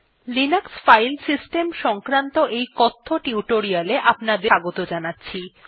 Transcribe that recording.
Linux file system সংক্রান্ত এই কথ্য টিউটোরিয়ালটিতে স্বাগত জানাচ্ছি